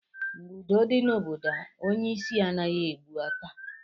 Mgbe udo dị na obodo, onye isi anaghị ebu ọta.